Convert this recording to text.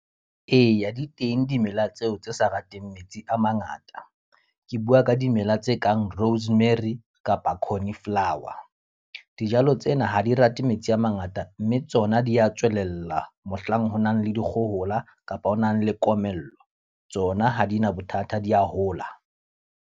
Eya di teng dimela tseo tse sa rateng metsi a mangata. Ke bua ka dimela tse kang rosemary, kapa cornflower. Dijalo tsena ha di rate metsi a mangata, mme tsona di ya tswelella mohlang ho nang le dikgohola kapa ho nang le komello. Tsona ha di na bothata di a hola.